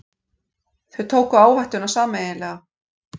Þau tóku áhættuna sameiginlega.